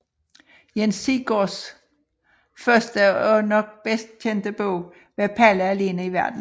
Jens Sigsgaards første og nok bedst kendte bog var Palle alene i Verden